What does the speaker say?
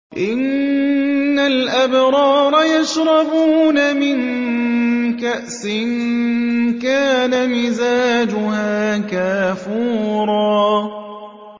إِنَّ الْأَبْرَارَ يَشْرَبُونَ مِن كَأْسٍ كَانَ مِزَاجُهَا كَافُورًا